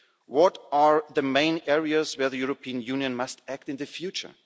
What are the main areas where the European Union must act in the future?